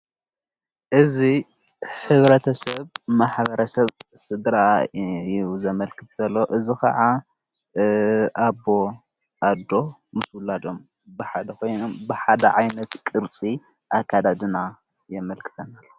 እዙ ኅብረተ ሰብ ማኅበረ ሰብ ሥድረ ዘመልክት ዘሎ እዝ ኸዓ ኣቦ ኣዶ ምስ ዉላዶም ብሓ ኾይኑ ብሓደ ዓይነት ቅርፂ ኣካዳድና የመልክተናለ::